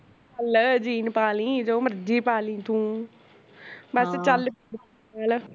ਲੈ jean ਪਾ ਲਈ ਤੂੰ ਜੋ ਮਰਜੀ ਪਾਲੀ ਤੂੰ, ਬਸ ਚਲਪੀ ਹੈਨਾ